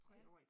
Ja